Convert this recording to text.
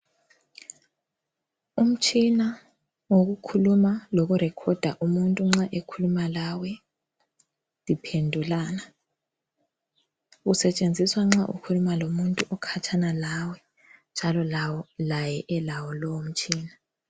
Umtshina wokukhuluma lokurecorder umuntu nxa ekhuluma lawe liphendulana. Usetshenziswa nxa ukhuluma lomuntu okhatshana lawe njalo laye elawo lowo mtshina.